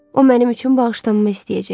O mənim üçün bağışlanma istəyəcək.